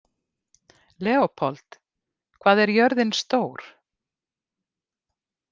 Leópold, hvað er jörðin stór?